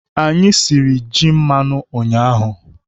Anyị siri ji mmanụ ụnyaahụ.